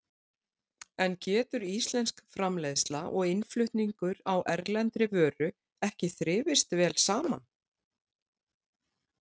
En getur íslensk framleiðsla og innflutningur á erlendri vöru ekki þrifist vel saman?